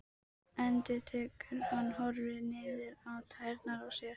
endurtekur hann og horfir niður á tærnar á sér.